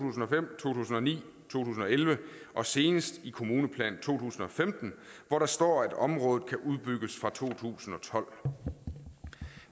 tusind og ni to tusind og elleve og senest i kommuneplan to tusind og femten hvor der står at området kan udbygges fra to tusind og tolv